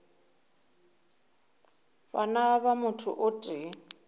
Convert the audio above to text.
bana ba motho o tee